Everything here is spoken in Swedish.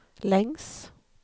längs